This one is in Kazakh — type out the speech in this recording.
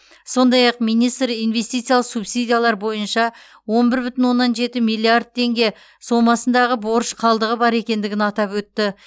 сондай ақ министр инвестициялық субсидиялар бойынша он бір бүтін оннан жеті миллиард теңге сомасындағы борыш қалдығы бар екендігін атап өтті